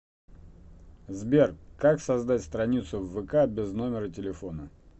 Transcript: сбер как создать страницу в вк без номера телефона